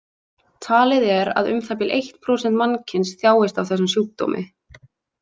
Talið er að um það bil eitt prósent mannkyns þjáist af þessum sjúkdómi.